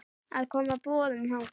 að koma boðum þangað.